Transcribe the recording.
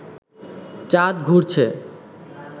চাঁদ ঘুরছে